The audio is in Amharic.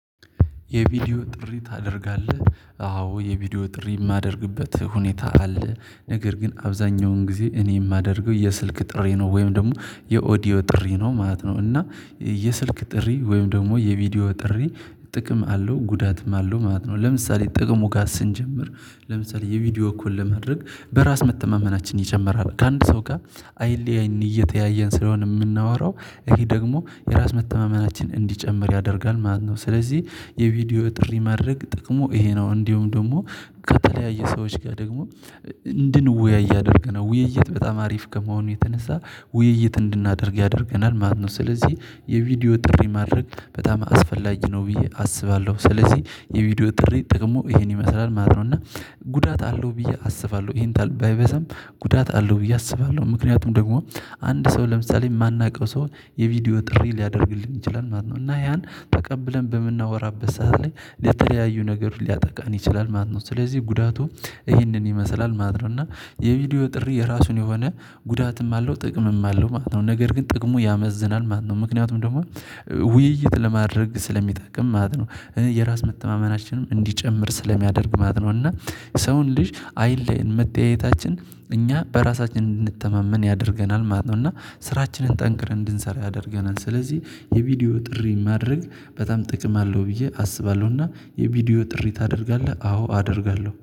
የቪዲዮ ጥሪ ታደርጋለህ? አዎ የቪዲዮ ጥሪ የማደርግበት ሁኔታ አለ። ነገር ግን አብዛኛውን ጊዜ እኔ የማደርገው የስልክ ጥሪ ነው። ወይም ደግሞ የኦዲዮ ጥሪ ነው ማለት ነው። እና የስልክ ጥሪ ወይም ደግሞ የቪዲዮ ጥሪ ጥቅም አለው ጉዳትም አለው ማለት ነው። ለምሳሌ ጥቅሙ ጋር ስንጀምር ለምሳሌ የቪዲዮ ኮል ለማድረግ በራስ መተማመናችን ይጨምራል። ከአንድ ሰው ጋር አይን አይን እየተያየን ስለሆነ የምናወራው ይሄ ደግሞ የራስ መተማመናችን እንዲጨምር ያደርጋል ማለት ነው። ስለዚህ የቪዲዮ ጥሪ ማድረግ ጥቅሙ ይሄ ነው። እንዲሁም ደግሞ ከተለያየ ሰዎች ጋር ደግሞ እንድንወያይ ያደርገናል። ውይይት በጣም አሪፍ ከመሆኑ የተነሳ ውይይት እንድናደርግ ያደርገናል ማለት ነው። ስለዚህ የቪዲዮ ጥሪ ማድረግ በጣም አስፈላጊ ነው ብዬ አስባለሁ። ስለዚህ የቪዲዮ ጥሪ ጠቅሙ ይሄን ይመስላል ማለት ነው። እና ጉዳት አለው ብዬ አስባለሁ። ይሄን ታህል ባይበዛም ጉዳት አለው ብዬ አስባለሁ። ምክንያቱም ደግሞ አንድ ሰው ለምሳሌ የማናውቀው ሰው የቪዲዮ ጥሪ ሊያደርግልን ይችላል ማለት ነው። እና ያን ተቀብለን በምናወራበት ሰዓት ላይ ለተለያዩ ነገር ሊያጠቃን ይችላል ማለት ነው። ስለዚህ ጉዳቱ ይህንን ይመስላል ማለት ነው። እና የቪዲዮ ጥሪ የራሱን የሆነ ጉዳትም አለው ጥቅምም አለው ማለት ነው። ነገር ግን ጥቅሙ ያመዝናል ማለት ነው። ምክንያቱም ደግሞ ውይይት ለማድረግ ስለሚጠቅም ማለት ነው። የራስ መተማመናችንም እንዲጨምር ስለሚያደርግ ማለት ነው። እና ሰውን ልጅ አይለየን መተያየታችን እኛ በራሳችን እንድንተማመን ያደርገናል ማለት ነው። እና ስራችንን ጠንክረን እንድንሰራ ያደርገናል። ስለዚህ የቪዲዮ ጥሪ ማድረግ በጣም ጥቅም አለው ብዬ አስባለሁ። እና የቪዲዮ ጥሪ ታደርጋለህ? አዎ አደርጋለሁ።